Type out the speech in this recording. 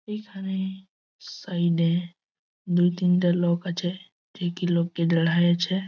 এই খানে সাইড -এ দু তিনটে লোক আছে ।